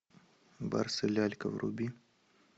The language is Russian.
барс и лялька вруби